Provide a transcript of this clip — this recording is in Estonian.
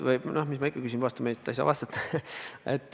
Noh, mis ma ikka küsin, vastata ju ei saa.